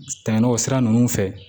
Tɛmɛnen o sira ninnu fɛ